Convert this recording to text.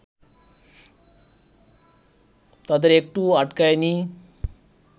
তাদের একটুও আটকায় নি